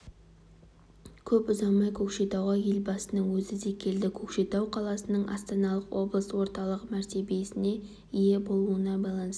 көп ұзамай көкшетауға елбасының өзі де келді көкшетау қаласының астаналық облыс орталығы мәртебесіне ие болуына байланысты